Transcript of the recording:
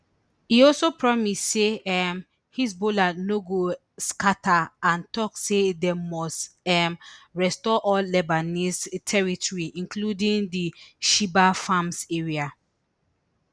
e also promise say um hezbollah no go scata and tok say dem must um restore all lebanese territory including di shebaa farms area